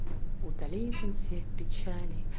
уталит он все все печали